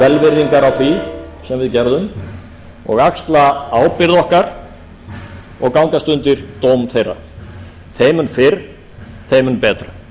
því sem við gerðum og axla ábyrgð okkar og gangast undir dóm þeirra þeim um fyrr þeim mun betra